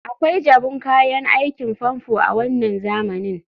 akwai jabun kayan aikin famfo a wannan zamanin